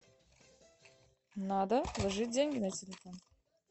надо положить деньги на телефон